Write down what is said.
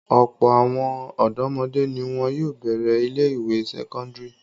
Ọ̀pọ̀ àwọn ọ̀dọ́mọdé ni wọn yóò bẹ̀rẹ̀ ilé-ìwé sẹ́kọ́ndárì.